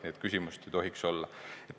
Nii et küsimust ei tohiks olla.